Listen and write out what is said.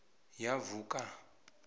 ya vhue kana